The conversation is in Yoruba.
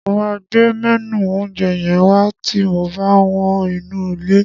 Mo máa gbé mẹ́nù oúnjẹ yẹn wá ti mo bá wọ́n inú ilé.